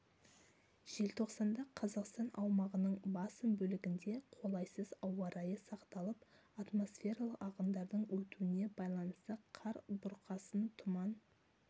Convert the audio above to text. желтоқсанда қазақстан аумағының басым бөлігінде қолайсыз ауа райы сақталып атмосфералық ағындардың өтуіне байланысты қар бұрқасын тұман